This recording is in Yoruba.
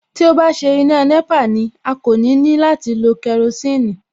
Tí ó bá ṣe iná nẹ́pà ni, a kò ní ní láti láti lo kerosiini